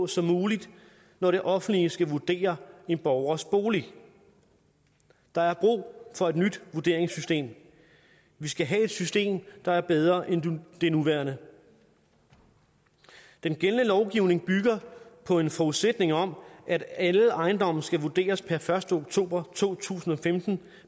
som muligt når det offentlige skal vurdere en borgers bolig der er brug for et nyt vurderingssystem vi skal have et system der er bedre end det nuværende den gældende lovgivning bygger på en forudsætning om at alle ejendomme skal vurderes per første oktober to tusind og femten